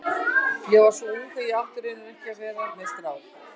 Ég var svo ung að ég átti raunar ekki að vera með strák.